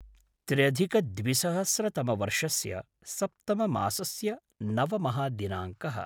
त्र्यधिकद्विसहस्रतमवर्षस्य सप्तममासस्य नवमः दिनाङ्कः